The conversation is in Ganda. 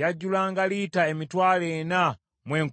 Yajjulanga lita emitwalo ena mu enkumi nnya.